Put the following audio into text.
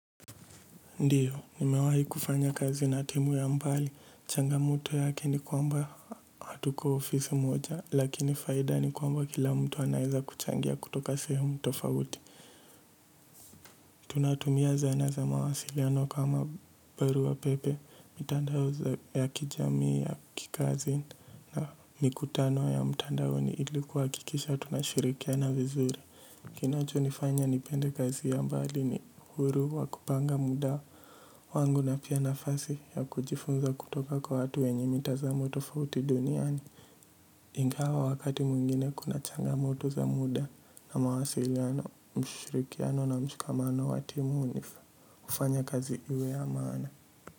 Ndio. Nimewahi kufanya kazi na timu ya mbali. Changamoto yake ni kwamba hatuko ofisi moja lakini faida ni kwamba kila mtu anaweza kuchangia kutoka sehemu tofauti. Tunatumia zana za mawasiliano kama barua pepe, mitandao ya kijamii ya kikazi na mikutano ya mtandaoni ili kuhakikisha tunashirikiana vizuri. Kinachonifanya nipende kazi ya mbali ni uhuru wa kupanga muda wangu na pia nafasi ya kujifunza kutoka kwa watu wenye mitazamo tofauti duniani. Ingawa wakati mwingine kuna changamoto za muda na mawasiliano, mshirikiano na mshikamano wa timu hunifanya kazi iwe ya maana.